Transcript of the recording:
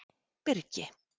Birgi